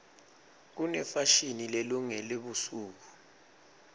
kunefashini lelungele busuku